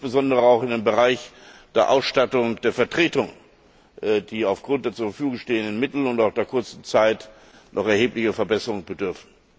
Das gilt insbesondere auch in dem Bereich der Ausstattung der Vertretungen, die aufgrund der zur Verfügung stehenden Mittel und auch aufgrund der kurzen Zeit noch erheblicher Verbesserungen bedarf.